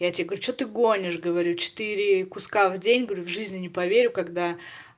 я тебе говорю что ты гонишь говорю четыре куска в день говорю в жизни не поверю когда